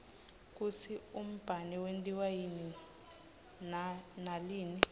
kutsi umbane wentiwa yini nalinn